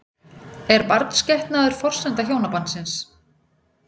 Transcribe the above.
Er barnsgetnaður forsenda hjónabandsins?